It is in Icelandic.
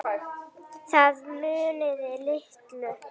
Það munaði litlu.